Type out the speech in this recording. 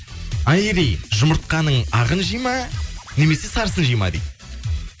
айри жұмыртқаның ағын жейді ма немесе сарысын жейді ма дейді